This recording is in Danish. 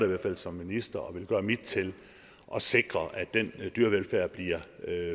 hvert fald som minister og vil gøre mit til at sikre at den dyrevelfærd bliver